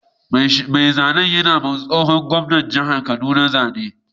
Mai zanen yana yiwa tsohon gwamnan jihar kaduna zane